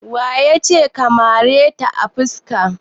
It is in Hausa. Waya ce ka mare ta a fuska?